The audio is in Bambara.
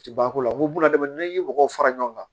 U tɛ ban ko la ko buna n'i ye mɔgɔw fara ɲɔgɔn kan